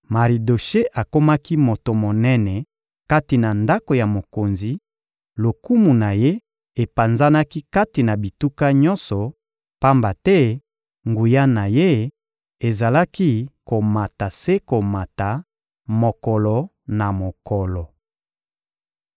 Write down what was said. Maridoshe akomaki moto monene kati na ndako ya mokonzi: lokumu na ye epanzanaki kati na bituka nyonso, pamba te nguya na ye ezalaki komata se komata, mokolo na mokolo.